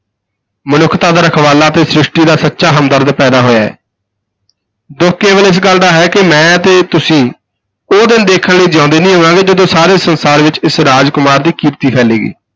ਮਨੁੱਖਤਾ ਦਾ ਰਖਵਾਲਾ ਤੇ ਸ੍ਰਿਸ਼ਟੀ ਦਾ ਸੱਚਾ ਹਮਦਰਦ ਪੈਦਾ ਹੋਇਆ ਹੈ ਦੁੱਖ ਕੇਵਲ ਇਸ ਗੱਲ ਦਾ ਹੈ ਕਿ ਮੈਂ ਤੇ ਤੁਸੀਂ ਉਹ ਦਿਨ ਦੇਖਣ ਲਈ ਜਿਉਂਦੇ ਨਹੀਂ ਹੋਵਾਂਗੇ ਜਦੋਂ ਸਾਰੇ ਸੰਸਾਰ ਵਿਚ ਇਸ ਰਾਜ ਕੁਮਾਰ ਦੀ ਕੀਰਤੀ ਫੈਲੇਗੀ।